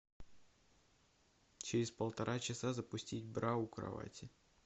через полтора часа запустить бра у кровати